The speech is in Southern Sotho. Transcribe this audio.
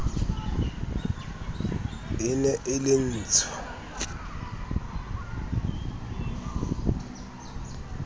e ne e le ntsho